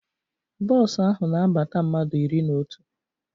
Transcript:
Bos ahụ na abata mmadụ iri na otu